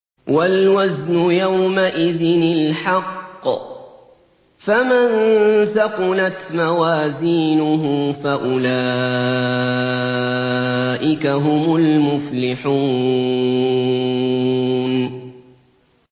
وَالْوَزْنُ يَوْمَئِذٍ الْحَقُّ ۚ فَمَن ثَقُلَتْ مَوَازِينُهُ فَأُولَٰئِكَ هُمُ الْمُفْلِحُونَ